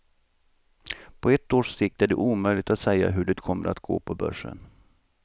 På ett års sikt är det omöjligt att säga hur det kommer att gå på börsen.